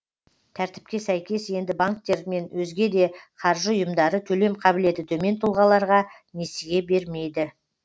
тәртіпке сәйкес енді банктер мен өзге де қаржы ұйымдары төлем қабілеті төмен тұлғаларға несие бермейді